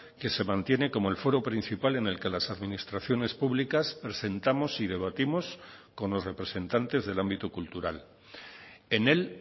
que se mantiene como el foro principal en el que las administraciones públicas presentamos y debatimos con los representantes del ámbito cultural en él